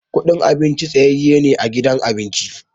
Kudin abinci tsayaye ne a gidan abinci.